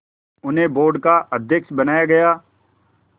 उन्हें बोर्ड का अध्यक्ष बनाया गया